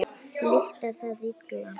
Lyktar það illa.